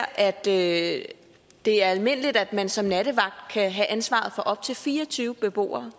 at det er almindeligt at man som nattevagt kan have ansvaret for op til fire og tyve beboere